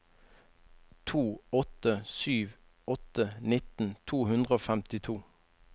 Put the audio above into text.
to åtte sju åtte nitten to hundre og femtito